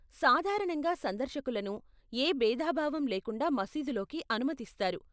సాధారణంగా సందర్శకులను ఏ భేదభావం లేకుండా మసీదు లోకి అనుమతిస్తారు.